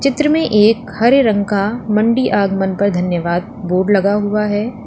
चित्र में एक हरे रंग का मंडी आगमन पर धन्यवाद बोर्ड लगा हुआ है।